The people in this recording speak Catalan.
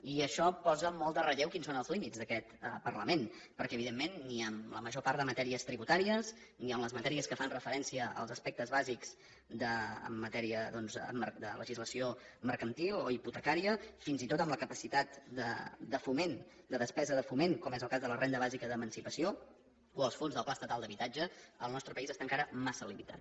i això posa molt en relleu quins són els límits d’aquest parlament perquè evidentment ni en la major part de matèries tributàries ni en les matèries que fan referència als aspectes bàsics en matèria doncs de legislació mercantil o hipotecària fins i tot en la capacitat de foment de despesa de foment com és el cas de la renda bàsica d’emancipació o els fons del pla estatal d’habitatge el nostre país està encara massa limitat